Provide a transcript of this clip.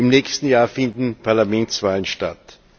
Im nächsten Jahr finden Parlamentswahlen statt.